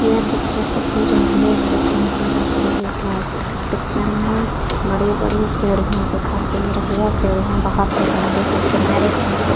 यह पिक्चर किसी railway station की लग रही है। पिक्चर में बड़ी-बड़ी सीढ़ियाँ दिखाई दे रही है। सीढ़िया बहोत ही लंबी है। किनारे-किनारे --